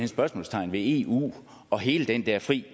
spørgsmålstegn ved eu og hele den der fri